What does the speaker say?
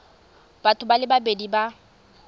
batho ba le babedi ba